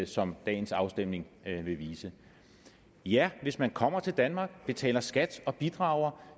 som dagens afstemning vil vise ja hvis man kommer til danmark betaler skat og bidrager